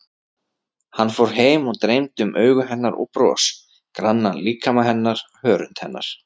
Hann fór heim og dreymdi um augu hennar og bros, grannan líkama hennar, hörund hennar.